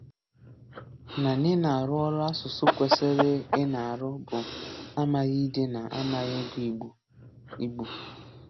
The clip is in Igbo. Na n’ị̀nà-árụ́ ọrụ̀ asụ̀sụ́ kwèsịrị ị̀nà-árụ́ bụ́ àmàghì ídé na àmàghì ị̀gụ Ìgbò. Ìgbò.